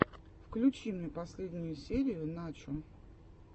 включи мне последнюю серию начо